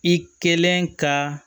I kɛlen ka